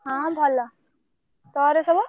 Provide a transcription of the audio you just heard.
ହଁ ଭଲ ତୋର ସବୁ?